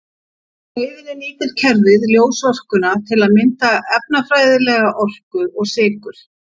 Á leiðinni nýtir kerfið ljósorkuna til að mynda efnafræðilega orku og sykur.